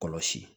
Kɔlɔsi